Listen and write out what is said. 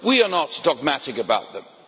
We are not dogmatic about them.